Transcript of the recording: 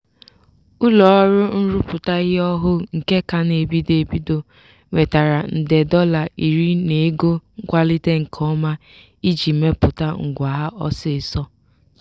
ụlọọrụ nrụpụta ihe ọhụụ nke ka na-ebido ebido nwetara nde dọla iri n'ego nkwalite nke ọma iji mepụta ngwa ha ọsịịsọ.